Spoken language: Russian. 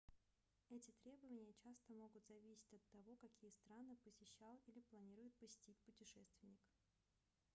эти требования часто могут зависеть от того какие страны посещал или планирует посетить путешественник